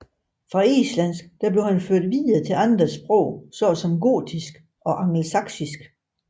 Fra islandsk føres han videre til andre sprog såsom gotisk og angelsaksisk